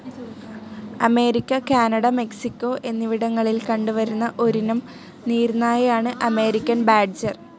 America, Canada, Mexico, എന്നിവിടങ്ങളിൽ കണ്ട് വരുന്ന ഒരിനം നീർനായയാണ് അമേരിക്കൻ ബാഡ്ജർ.